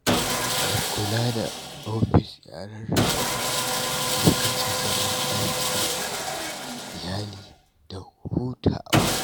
Mai kula da ofis ya rarraba lokacinsa don aiki, iyali da hutawa.